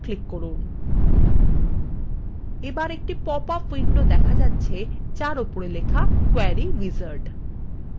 এবার একটি পপআপ উইন্ডোতে দেখা যাচ্ছে যার উপরে লেখা কোয়েরি উইজার্ড